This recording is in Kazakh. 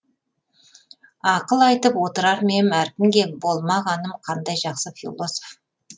ақыл айтып отырар ма ем әркімге болмағаным қандай жақсы философ